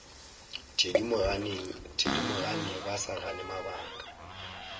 thedimogane ba sa gane mabaka